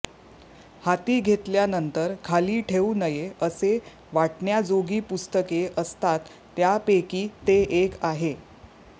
हाती घेतल्यानंतर खाली ठेवू नये असे वाटण्याजोगी पुस्तके असतात त्यांपैकी ते एक आहे